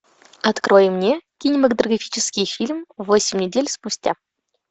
открой мне кинематографический фильм восемь недель спустя